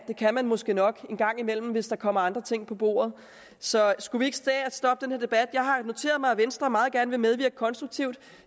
det kan man måske nok en gang imellem hvis der kommer andre ting på bordet så skulle vi ikke tage og stoppe den her debat jeg har noteret mig at venstre meget gerne vil medvirke konstruktivt